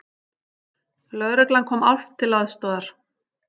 Lögreglan kom álft til aðstoðar